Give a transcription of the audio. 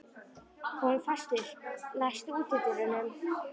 Hólmfastur, læstu útidyrunum.